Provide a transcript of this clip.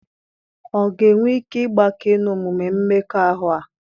Ọ̀ ga-enwe ike ịgbake n'omume mmekọahụ a?